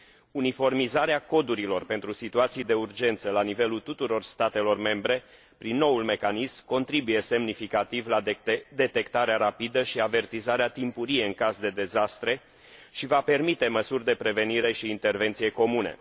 Uniformizarea codurilor pentru situații de urgență la nivelul tuturor statelor membre prin noul mecanism contribuie semnificativ la detectarea rapidă și avertizarea timpurie în caz de dezastre și va permite măsuri de prevenire și intervenție comune.